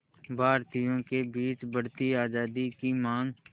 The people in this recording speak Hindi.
भारतीयों के बीच बढ़ती आज़ादी की मांग